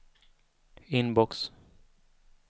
inbox